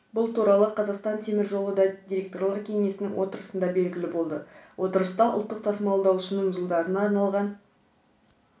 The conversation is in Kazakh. бұл туралы қазақстан темір жолы да директорлар кеңесінің отырысында белгілі болды отырыста ұлттық тасымалдаушының жылдарына арналған